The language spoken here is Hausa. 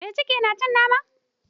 Mai cikin tana cin nama